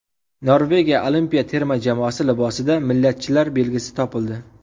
Norvegiya olimpiya terma jamoasi libosida millatchilar belgisi topildi.